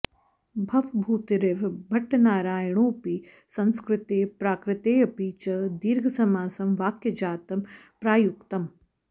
भवभूतिरिव भट्टनारायणोऽपि संस्कृते प्राकृतेऽपि च दीर्घसमासं वाक्यजातं प्रायुङ्क्त